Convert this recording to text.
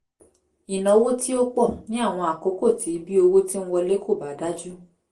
ìnáwó tí ó pọ̀ ní àwọn àkókò tí bí owó ti ń wọlé kò bá dájú